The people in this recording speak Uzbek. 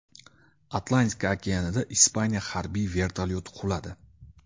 Atlantika okeanida Ispaniya harbiy vertolyoti quladi.